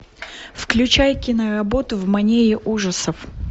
включай киноработу в манере ужасов